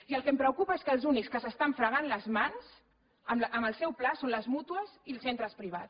i el que em preocupa és que els únics que s’estan fregant les mans amb el seu pla són les mútues i els centres privats